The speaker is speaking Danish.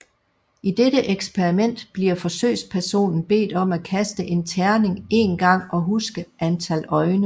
I dette eksperiment bliver forsøgspersonen bedt om at kaste en terning en gang og huske antal øjne